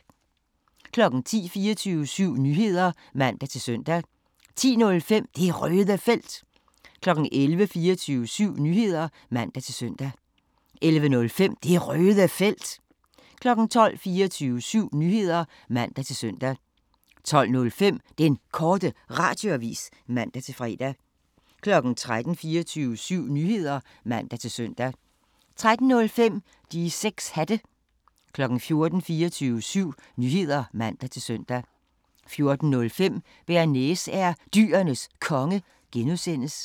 10:00: 24syv Nyheder (man-søn) 10:05: Det Røde Felt 11:00: 24syv Nyheder (man-søn) 11:05: Det Røde Felt 12:00: 24syv Nyheder (man-søn) 12:05: Den Korte Radioavis (man-fre) 13:00: 24syv Nyheder (man-søn) 13:05: De 6 Hatte 14:00: 24syv Nyheder (man-søn) 14:05: Bearnaise er Dyrenes Konge (G)